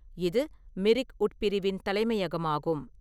இது மிரிக் உட்பிரிவின் தலைமையகமாகும்.